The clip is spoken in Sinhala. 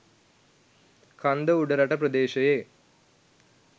කන්ද උඩරට ප්‍රදේශයේ